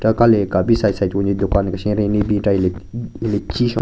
Ka le hika bin side side wanjin ne dukan kesha kera ne bin chera hile hile chwi shon.